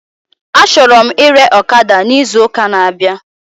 Achọrọ m ire ọkada na izu week